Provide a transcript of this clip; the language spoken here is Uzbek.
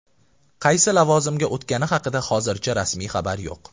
Qaysi lavozimga o‘tgani haqida hozircha rasmiy xabar yo‘q.